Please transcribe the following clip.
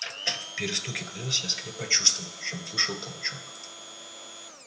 в перестуке колёс я скорее почувствовал чем услышал толчок